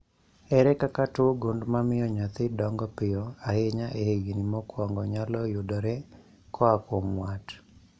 Ere kaka tuo gund mamio nyathi dongo piyo ahinya e higni mokwongo nyalo yudore koa kuom wat?